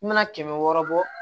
I mana kɛmɛ wɔɔrɔ bɔ